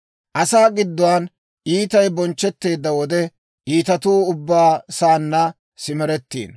Asaa gidduwaan iitay bonchchetteedda wode, iitatuu ubbaa saanna simeretteeddino.